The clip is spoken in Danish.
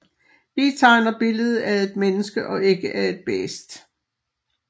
Vi tegner billedet af et menneske og ikke af et bæst